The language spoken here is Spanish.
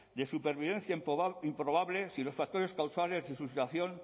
de supervivencia improbable si los factores causantes de su situación